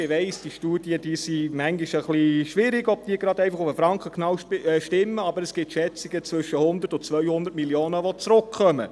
Ich weiss, bei Studien ist es manchmal etwas schwierig zu wissen, ob sie auf den Franken genau stimmen, aber es gibt Schätzungen, wonach zwischen 100 und 200 Mio. Franken zurückkommen.